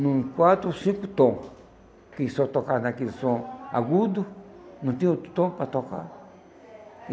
num quatro ou cinco tom, que só tocava naquele som agudo, não tinha outro tom para tocar.